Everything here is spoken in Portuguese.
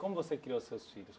Como você criou seus filhos?